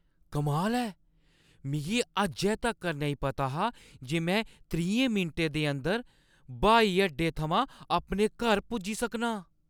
कमाल ऐ ! मिगी अज्जै तक्कर नेईं पता हा जे मैं त्रीहें मिंटें दे अंदर ब्हाई अड्डे थमां अपने घर पुज्जी सकनां।